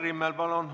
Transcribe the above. Kai Rimmel, palun!